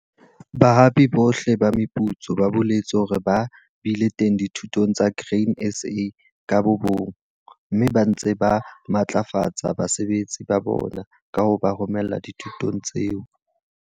Bahapi bohle ba meputso ba boletse hore ba bile teng dithutong tsa Grain SA ka bobona, mme ba ntse ba matlafatsa basebetsi ba bona ka ho ba romella dithutong tseo.